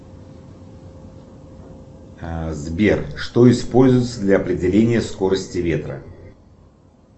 сбер что используется для определения скорости ветра